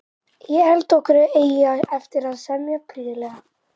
Ég held okkur eigi eftir að semja prýðilega.